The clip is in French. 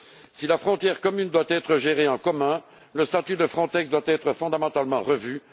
Si la frontière commune doit être gérée en commun, le statut de Frontex doit être fondamentalement revu